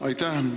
Aitäh!